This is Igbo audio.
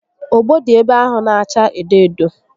Ogbo dị ebe ahụ n'acha edo edo